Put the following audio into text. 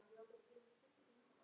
Þín Bára.